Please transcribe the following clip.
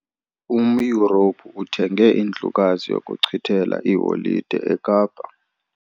UmYurophu uthenge indlukazi yokuchithela iiholide eKapa.